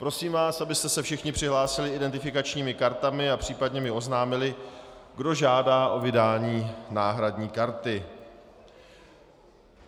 Prosím vás, abyste se všichni přihlásili identifikačními kartami a případně mi oznámili, kdo žádá o vydání náhradní karty.